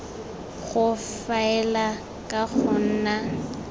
go faela ka go nna